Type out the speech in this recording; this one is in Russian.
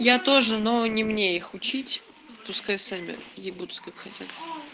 я тоже но не мне их учить пускай сами ебутся как хотят